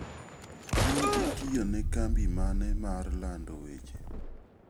In itiyo ne kambi mane mar lando weche?